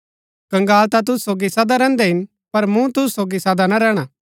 कंगाल ता तुसु सोगी सदा रैहन्दै हिन पर मूँ तुसु सोगी सदा ना रैहणा